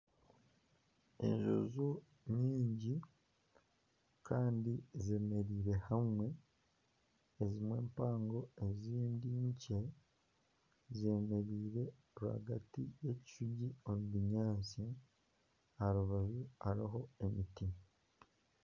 Ejubu nyingi kandi zeemereire hamwe ezimwe mpango kandi ezindi nkye, zeemereire rwagati y'ebishugi omu binyaatsi aha rubaju hariho emiti